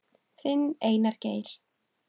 Þinn, Einar Geir.